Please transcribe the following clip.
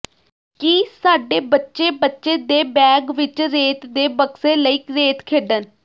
ਕੀ ਸਾਡੇ ਬੱਚੇ ਬੱਚੇ ਦੇ ਬੈਗ ਵਿੱਚ ਰੇਤ ਦੇ ਬਕਸੇ ਲਈ ਰੇਤ ਖੇਡਣ